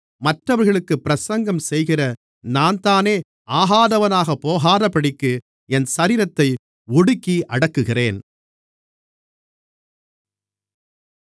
மற்றவர்களுக்குப் பிரசங்கம் செய்கிற நான்தானே ஆகாதவனாகப் போகாதபடிக்கு என் சரீரத்தை ஒடுக்கி அடக்குகிறேன்